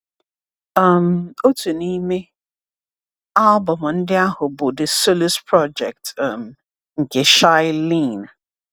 um Otu n’ime album ndị ahụ bụ The Solus Project um nke Shai Linne.